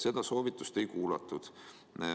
Seda soovitust ei kuulatud.